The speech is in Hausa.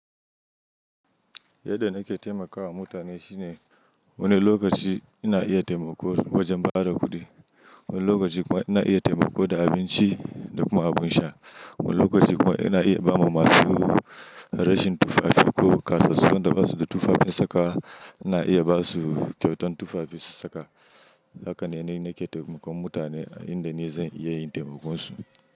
Yadda nake taimakawa mutane shine wani lokaci ina iya taimako wajen ba da kuɗi, wani lokaci kuma ina iya taimako da abinci da kuma abin sha. Wani lokaci kuma ina iya ba ma masu rashin tufafi ko ƙasashen da basu da tufafin saka, ina iya ba su kyautan tufafin saka. Haka ne ni nake taimakon mutane a inda ni zan iya yin taimakon su.